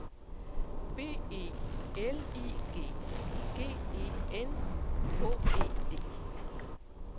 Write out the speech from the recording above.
B E L I G G E N H E D